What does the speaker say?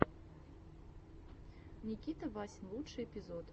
никита васин лучший эпизод